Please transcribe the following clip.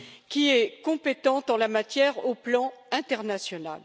qui est compétente en la matière sur le plan international.